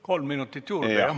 Kolm minutit juurde, jah?